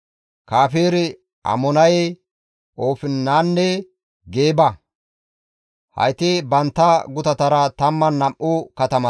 Kafer-Amonaye, Oofinanne Geeba. Hayti bantta gutatara 12 katamata.